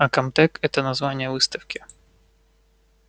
а комтек это название выставки